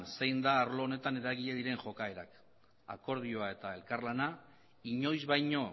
zein da arlo honetan eragile diren jokaerak akordioa eta elkarlana inoiz baino